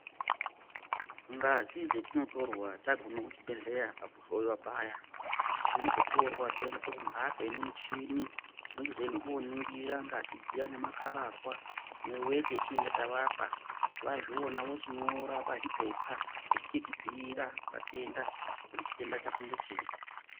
Ngazi dzetinotorwa tagume kuzvibhedhlera pakuhloyiwa paya. Dzinozotorwa dzoendeswa kumhatso ine michini, inochizoende koningira ngazi dziya nemakhararwa neweti yetinenge tavapa, vazviona vochinyora pazvipepa, vachichitibhiira, vatenda kuti chitenda chako ngechei.